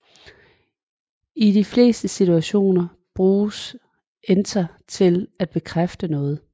I de fleste situationer bruges enter til at bekræfte noget